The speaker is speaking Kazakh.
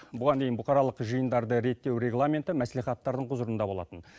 бұған дейін бұқаралық жиындарды реттеу регламенті мәслихаттардың құзырында болатын